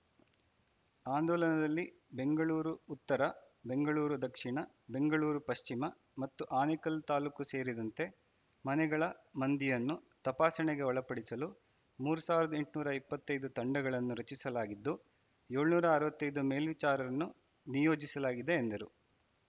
ಆಂದೋಲನದಲ್ಲಿ ಬೆಂಗಳೂರು ಉತ್ತರ ಬೆಂಗಳೂರು ದಕ್ಷಿಣ ಬೆಂಗಳೂರು ಪಶ್ಚಿಮ ಮತ್ತು ಆನೇಕಲ್‌ ತಾಲೂಕು ಸೇರಿದಂತೆ ಮನೆಗಳ ಮಂದಿಯನ್ನು ತಪಾಸಣೆಗೆ ಒಳಪಡಿಸಲು ಮೂರು ಸಾವಿರದ ಎಂಟನೂರ ಇಪ್ಪತ್ತೈ ದು ತಂಡಗಳನ್ನು ರಚಿಸಲಾಗಿದ್ದು ಏಳನೂರ ಅರವತ್ತೈದು ಮೇಲ್ವಿಚಾರನ್ನು ನಿಯೋಜಿಸಲಾಗಿದೆ ಎಂದರು